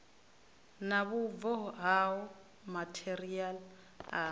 na vhubvo hao matheriaḽa a